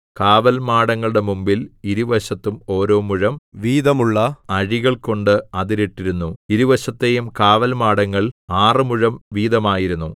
കാവൽമാടങ്ങളുടെ മുമ്പിൽ ഇരുവശത്തും ഓരോ മുഴം വീതമുള്ള അഴികൾ കൊണ്ട് അതിരിട്ടിരുന്നു ഇരുവശത്തെയും കാവൽമാടങ്ങൾ ആറ് മുഴം വീതമായിരുന്നു